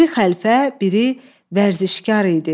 Biri xəlfə, biri vərzişkar idi.